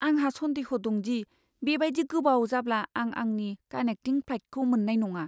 आंहा सन्देह' दं दि बेबायदि गोबाव जाब्ला आं आंनि कानेक्टिं फ्लाइटखौ मोन्नाय नङा।